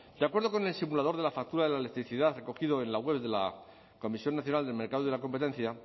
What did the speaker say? de acuerdo con el simulador de la factura de la electricidad recogido en la web de la comisión nacional del mercado de la competencia